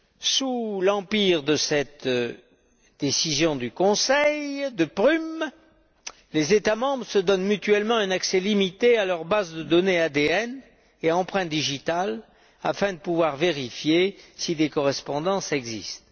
Sous l'empire de cette décision du Conseil de Prüm, les États membres se donnent mutuellement un accès limité à leurs bases de données ADN et empreintes digitales afin de pouvoir vérifier si des correspondances existent.